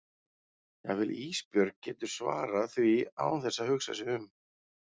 Jafnvel Ísbjörg getur svarað því án þess að hugsa sig um.